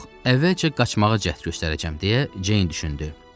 Yox, əvvəlcə qaçmağa cəhd göstərəcəm, deyə Ceyn düşündü.